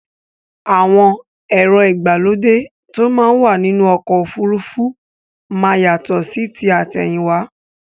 Àwọn èrò igbálódẹ̀ tó mà wà nínu ọ̀kọ̀ ofúrúfú má yátọ̀ sí tí atẹ̀hìnwa